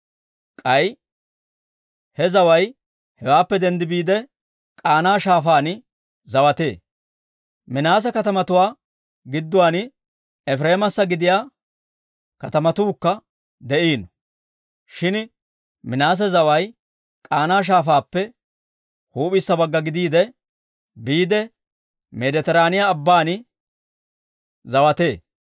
K'ay he zaway hewaappe denddi biide, K'aana Shaafaan zawatee. Minaase katamatuwaa gidduwaan Efireemassa gidiyaa katamatuukka de'iino; shin Minaase zaway K'aana Shaafaappe huup'issa bagga gidiide, biide Meeditiraaniyaa Abban zawatee.